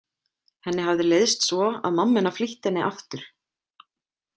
Henni hafði leiðst svo að mamma hennar flýtti henni aftur.